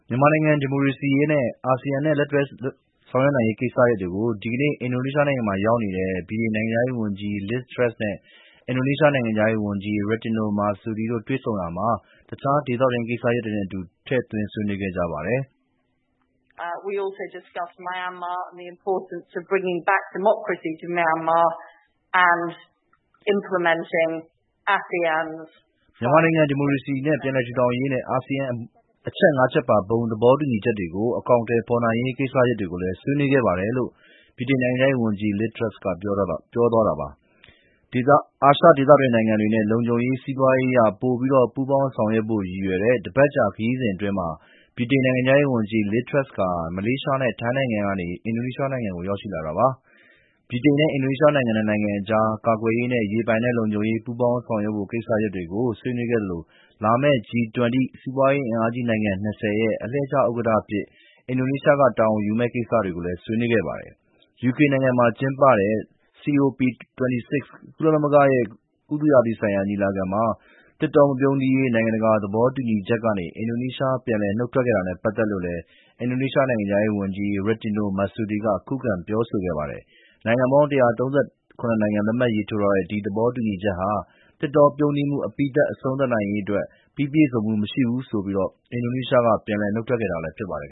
မြန်မာနိုင်ငံ ဒီမိုကရေစီရေးနဲ့ အာဆီယံနဲ့ လက်တွဲလုပ်ဆောင်နိုင်ရေးကိစ္စတွေကို ဒီနေ့ အင်ဒိုနီးရှားနိုင်ငံမှာ ရောက်နေတဲ့ ဗြိတိန်နိုင်ငံခြားရေးဝန်ကြီး Liz Truss နဲ့ အင်ဒိုနီးရှားနိုင်ငံခြားရေးဝန်ကြီး Retno Marsudi တို့ တွေ့ဆုံရာမှာ တခြား ဒေသတွင်း အရေးကိစ္စတွေနဲ့အတူ ထည့်သွင်းဆွေးနွေးခဲ့ကြပါတယ်။ “မြန်မာနိုင်ငံ ဒီမိုကရေစီ ပြန်လည်ထူထောင်နိုင်ရေးနဲ့ အာဆီယံရဲ့ အချက် ၅ ချက် ပါ ဘုံသဘောတူညီချက်ကို အကောင်အထည်ဖော်နိုင်ရေး ကိစ္စတွေကိုလည်း ဆွေးနွေးခဲ့ပါတယ်" လို့ ဗြိတိန်နိုင်ငံခြားရေးဝန်ကြီး Liz Truss က ပြောပါတယ်။ အာရှဒေသတွင်းနိုင်ငံတွေနဲ့ လုံခြုံရေးနဲ့ စီးပွားရေးအရ ပိုပြီး ပူးပေါင်းဆောင်ရွက်ဖို့ ရည်ရွယ်တဲ့ တပတ်ကြာ ခရီးစဉ်အတွင်း ဗြိတိန် နိုင်ငံခြားရေးဝန်ကြီး Liz Truss ဟာ မလေးရှားနဲ့ ထိုင်းနိုင်ငံကနေ အင်ဒိုနီးရှားနိုင်ငံကို ရောက်လာတာပါ။ ဗြိတိန်နဲ့ အင်ဒိုနီးရှား နှစ်နိုင်ငံအကြား ကာကွယ်ရေးနဲ့ ရေပိုင်နက်လုံခြုံရေး ပူးပေါင်းဆောင်ရွက်ဖို့ ကိစ္စတွေကို ဆွေးနွေးသလို လာမယ့်နှစ် G-20 စီးပွားရေးအင်အားကြီးနိုင်ငံ ၂၀ ရဲ့ အလှည့်ကျ ဥက္ကဋ္ဌအဖြစ် အင်ဒိုနီးရှား တာဝန်ယူမယ့်ကိစ္စတွေကို ဆွေးနွေးခဲ့ပါတယ်။ ယူကေနိုင်ငံမှာကျင်းပတဲ့ COP26 ကုလသမဂ္ဂရဲ့ ရာသီဥတုဆိုင်ရာ ညီလာခံမှာ သစ်တောတွေ မပြုန်းတီးရေး နိုင်ငံတကာသဘောတူညီချက်ကနေ အင်ဒိုနီးရှား ပြန်လည် နုတ်ထွက်ခဲ့တာနဲ့ ပတ်သက်လို့လည်း အင်ဒိုနီးရှားနိုင်ငံခြားရေးဝန်ကြီး Retno Marsudi က ခုခံ ပြောဆိုခဲ့ပါတယ်။ နိုင်ငံပေါင်း ၁၃၇ နိုင်ငံ လက်မှတ်ရေးထိုးတဲ့ သဘောတူညီချက်ဟာ သစ်တောပြုန်းတီးမှု အပြီးသတ် အဆုံးသတ်နိုင်ရေးအတွက် ပြည့်စုံမှုမရှိဘူးဆိုပြီး အင်ဒိုနီးရှားက ပြန်လည် နုတ်ထွက်ခဲ့တာဖြစ်ပါတယ်